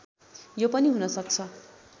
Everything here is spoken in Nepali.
यो पनि हुन सक्छ